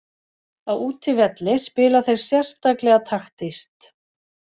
Á útivelli spila þeir sérstaklega taktískt.